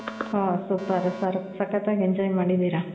ಓಹ್ super ಸಕ್ಕತ್ ಆಗಿ enjoy ಮಾಡಿದಿರ